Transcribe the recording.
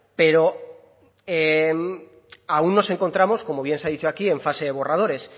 pero aún nos encontramos como bien se ha dicho aquí en fase de borradores